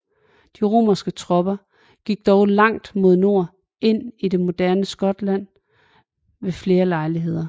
De romerske tropper gik dog langt mod nord ind i det moderne Skotland ved flere lejligheder